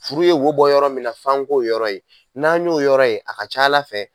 Furu ye wo bɔ yɔrɔ min na f'an k'o yɔrɔ ye , n'an y'o yɔrɔ ye a ka ca Ala fɛ